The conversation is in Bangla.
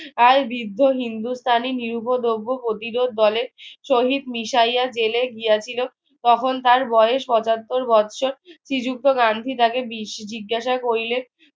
আর বিব্য হিন্দুস্থানি নিরুপোদ্রব্য প্রতিরোধ দলের সহিত মিশাইয়া জেলে গিয়েছিলো তখন তার বয়স পঁচাত্তর বৎসর শ্রীযুক্ত গান্ধী তাকে জিজ্ঞাসা করিলেন